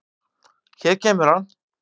Hér kemur hann.